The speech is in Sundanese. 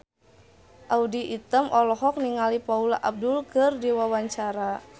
Audy Item olohok ningali Paula Abdul keur diwawancara